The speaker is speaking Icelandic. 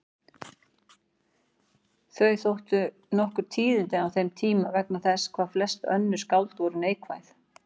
Þau þóttu nokkur tíðindi á þeim tíma vegna þess hvað flest önnur skáld voru neikvæð.